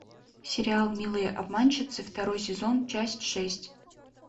сериал милые обманщицы второй сезон часть шесть